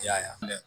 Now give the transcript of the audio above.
I y'a ye